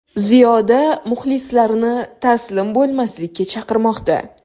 Ziyoda muxlislarini taslim bo‘lmaslikka chaqirmoqda.